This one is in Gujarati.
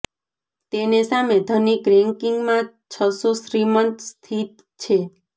તેને સામે ધનિક રેન્કિંગ માં છસો શ્રીમંત સ્થિત છે